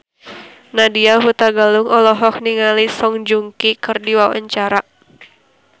Nadya Hutagalung olohok ningali Song Joong Ki keur diwawancara